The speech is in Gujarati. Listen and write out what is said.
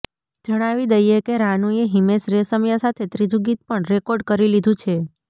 જણાવી દઈએ કે રાનુએ હિમેશ રેશમિયા સાથે ત્રીજું ગીત પણ રેકોર્ડ કરી લીધું છે